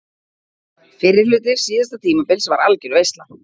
Fyrri hluti síðasta tímabils var algjör veisla.